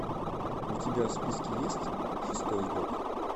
у тебя в списке есть шестой игрок